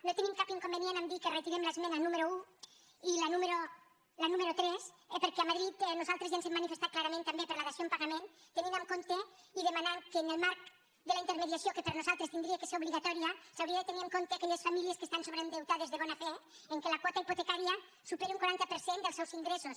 no tenim cap inconvenient a dir que retirem l’esmena número un i la número tres perquè a madrid nosaltres ja ens hem manifestat clarament també per la dació en pagament tenint en compte i demanant que en el marc de la intermediació que per nosaltres hauria de ser obligatòria s’haurien de tenir en compte aquelles famílies que estan sobreendeutades de bona fe en què la quota hipotecària supera un quaranta per cent els seus ingressos